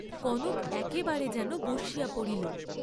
কনক একেবারে যেন বসিয়া পড়িল।